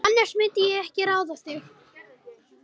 Annars myndi ég ekki ráða þig.